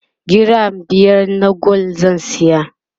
giram biyar na gwal zan saya